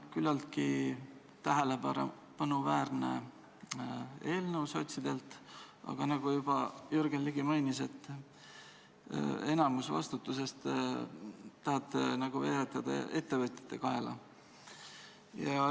Küllaltki tähelepanuväärne eelnõu sotsidelt, aga nagu juba Jürgen Ligi mainis, enamiku vastutusest tahate veeretada ettevõtjate kaela.